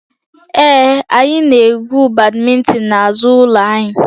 Ee, anyị na-egwu badminton n'azụ ụlọ anyị